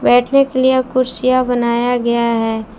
बैठने के लिए यहां कुर्सियां बनाया गया है।